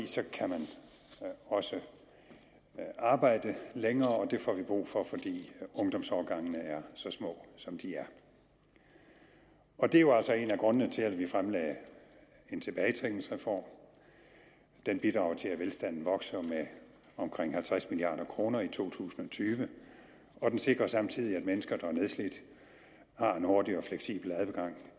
så kan man også arbejde længere og det får vi brug for fordi ungdomsårgangene er så små som de er og det er jo altså en af grundene til at vi fremlagde en tilbagetrækningsreform den bidrager til at velstanden vokser med omkring halvtreds milliard kroner i to tusind og tyve og den sikrer samtidig at mennesker der er nedslidte har en hurtig og fleksibel adgang